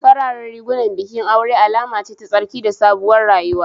Fararen rigunan bikin aure alama ce ta tsarki da sabuwar rayuwa